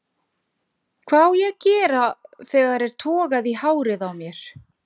Hvað á ég að gera þegar er togað í hárið á mér?